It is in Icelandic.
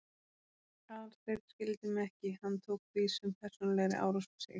Aðalsteinn skildi mig ekki, hann tók því sem persónulegri árás á sig.